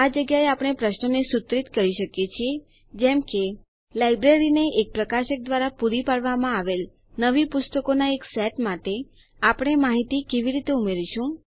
આ જગ્યાએ આપણે પ્રશ્નોને સુત્રિત કરી શકીએ છીએ જેમ કે લાઈબ્રેરીને એક પ્રકાશક દ્વારા પૂરી પાડવામાં આવેલ નવી પુસ્તકોના એક સેટ માટે આપણે માહિતી કેવી રીતે ઉમેરીશું